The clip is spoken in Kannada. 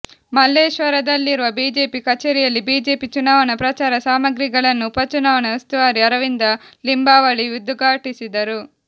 ಮಲ್ಲೇಶ್ವರದಲ್ಲಿರುವ ಬಿಜೆಪಿ ಕಚೇರಿಯಲ್ಲಿ ಬಿಜೆಪಿ ಚುನಾವಣಾ ಪ್ರಚಾರ ಸಾಮಗ್ರಿಿಗಳನ್ನು ಉಪಚುನಾವಣಾ ಉಸ್ತುವಾರಿ ಅರವಿಂದ ಲಿಂಬಾವಳಿ ಉದ್ಘಾಾಟಿಸಿದರು